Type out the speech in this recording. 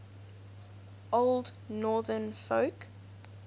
old northern folk